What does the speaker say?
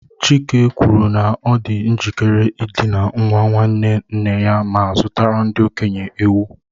Chike kwuru na ọ dị njikere ịdina nwa nwanne nna ya ma zụtara ndị okenye ewu.